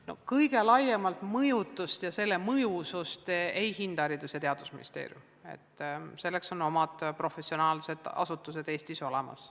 No kõige laiemalt mõjutust ja selle mõjusust ei hinda mitte Haridus- ja Teadusministeerium, vaid selleks on Eestis olemas professionaalsed asutused.